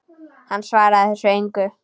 Hann svarar þessu engu.